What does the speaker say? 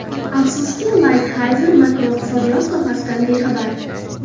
Afsuski, Laytxayzer makroiqtisodiyot sohasidan bexabar.